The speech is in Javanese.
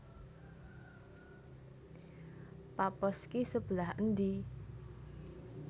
Paphos ki sebelah ndi